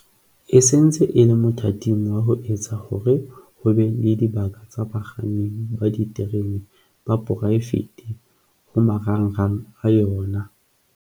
e se ntse e le mothating wa ho etsa hore ho be le dibaka tsa bakganni ba diterene ba poraefete ho marangrang a yona.